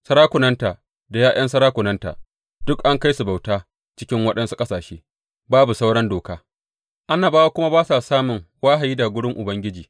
Sarakunanta da ’ya’yan sarakunanta duk an kai su bauta cikin waɗansu ƙasashe, babu sauran doka, annabawa kuma ba su samun wahayi daga wurin Ubangiji.